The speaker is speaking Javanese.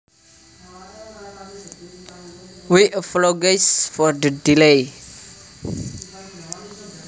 We appologise for the delay